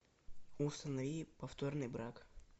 установи повторный брак